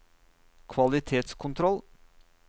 kvalitetskontroll